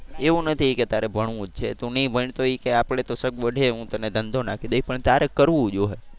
એવું નથી કે તારે ભણવું જ છે તું નહીં ભણ તો એ કે આપડે તો સગવડ છે હું તને ધંધો નાખી દઇશ પણ ત્યારે કરવું જોશે.